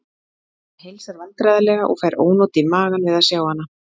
Hann heilsar vandræðalega og fær ónot í magann við að sjá hana.